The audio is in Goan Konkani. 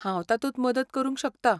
हांव तातूंत मदत करूंक शकता.